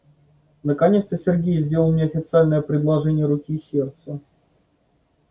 наконец-то сергей сделал мне официальное предложение руки и сердца